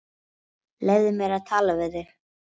Leyfðu mér að tala við þig!